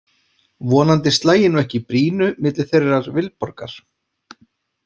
Vonandi slægi nú ekki í brýnu milli þeirrar Vilborgar.